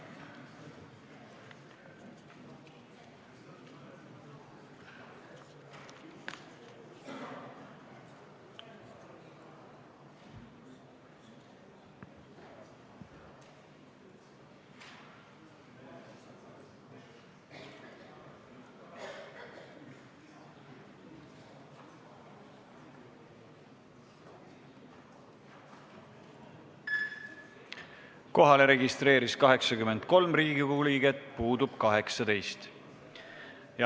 Kohaloleku kontroll Kohalolijaks registreerus 83 Riigikogu liiget, puudub 18.